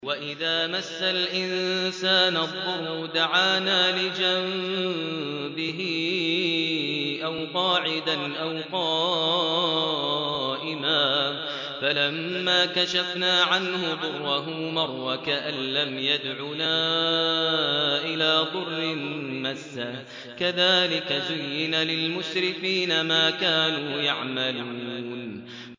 وَإِذَا مَسَّ الْإِنسَانَ الضُّرُّ دَعَانَا لِجَنبِهِ أَوْ قَاعِدًا أَوْ قَائِمًا فَلَمَّا كَشَفْنَا عَنْهُ ضُرَّهُ مَرَّ كَأَن لَّمْ يَدْعُنَا إِلَىٰ ضُرٍّ مَّسَّهُ ۚ كَذَٰلِكَ زُيِّنَ لِلْمُسْرِفِينَ مَا كَانُوا يَعْمَلُونَ